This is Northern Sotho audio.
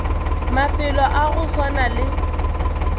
mafelo a go swana le